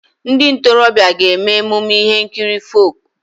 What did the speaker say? Ndị ntorobịa ga-eme emume ihe nkiri folk.